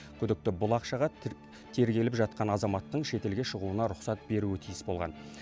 күдікті бұл ақшаға тергеліп жатқан азаматтың шетелге шығуына рұқсат беруі тиіс болған